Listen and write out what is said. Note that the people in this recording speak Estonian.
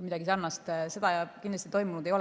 midagi sarnast kindlasti toimunud ei ole.